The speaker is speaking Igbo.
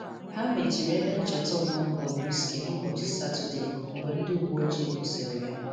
Ha mechiri ebe ncheta ọmụmụ Bobrisky n’ụbọchị Satọde mgbe ndị uwe ojii kwụsịrị ya